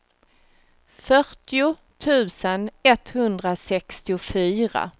fyrtio tusen etthundrasextiofyra